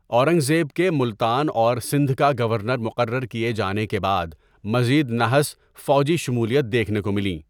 اورنگزیب کے ملتان اور سندھ کا گورنر مقرر کئے جانے کے بعد، مذید نَحْس فوجی شمولیت دیکھنے کو ملیں ۔